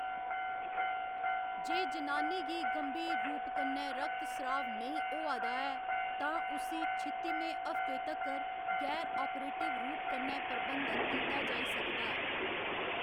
जे जनानी गी गंभीर रूप कन्नै रक्तस्राव नेईं होआ दा ऐ, तां उस्सी छित्तिमें हफ्ते तक्कर गैर आपरेटिव रूप कन्नै प्रबंधित कीता जाई सकदा ऐ।